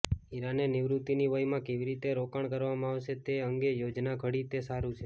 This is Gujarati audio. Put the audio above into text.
ઇરાને નિવૃત્તિની વયમાં કેવી રીતે રોકાણ કરવામાં આવશે તે અંગે યોજના ઘડી તે સારું છે